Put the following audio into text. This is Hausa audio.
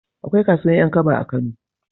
Akwai kasuwan 'yan kaba a kano